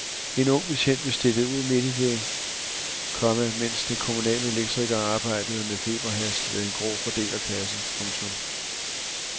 En ung betjent blev stillet ud midt i det, komma mens de kommunale elektrikere arbejdede med feberhast ved en grå fordelerkasse. punktum